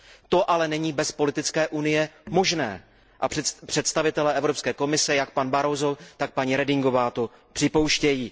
To ale není bez politické unie možné a představitelé Evropské komise jak pan Barroso, tak paní Redingová to připouštějí.